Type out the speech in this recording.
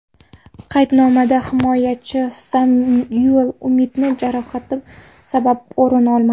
Qaydnomadan himoyachi Samyuel Umtiti jarohati sabab o‘rin olmadi.